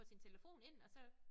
Få sin telefon ind og så